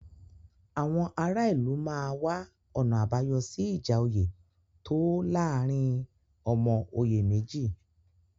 Àwọn ara ìlú máa wá ọ̀nà àbáyọ sí ìjà oyè tó láàárín ọmọ oyè méjì.